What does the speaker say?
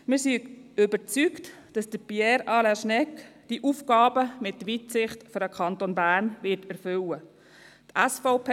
Wir sind überzeugt, dass Pierre Alain Schnegg diese Aufgaben mit Weitsicht für den Kanton Bern erfüllen wird.